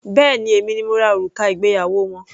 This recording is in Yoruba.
Béèni èmi ni mo rà òrùka ìgbéyàwó wọn.